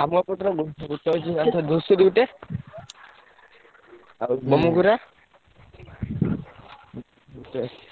ଆମ ଏପଟରେ ଅଛି ଧୂସୁରୀ ଗୋଟେ ଆଉ